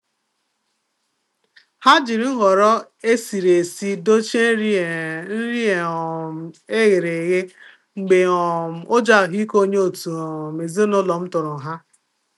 Ha jiri nhọrọ esiri esi dochie nri e nri e um ghere eghe mgbe um ụjọ ahụike onye otu um ezinụlọ m tụrụ há.